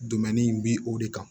in bi o de kan